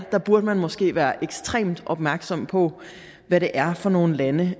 burde man måske være ekstremt opmærksom på hvad det er for nogle lande